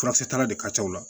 Furakisɛ tara de ka ca o la